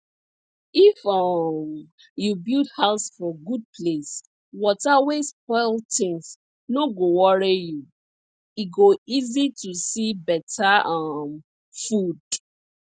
if um you build house for good place water wey spoil things no go worry you e go easy to see better um food